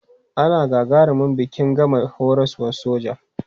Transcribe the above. Ana gagarumin biki in gama horaswar soja.